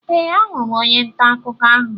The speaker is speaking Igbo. Ee, ahụrụ m onye ntà akụkọ ahụ.